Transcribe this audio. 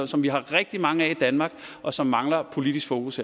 som vi har rigtig mange af i danmark og som mangler politisk fokus